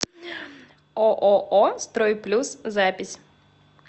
ооо строй плюс запись